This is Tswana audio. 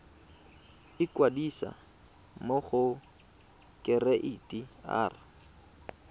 ikwadisa mo go kereite r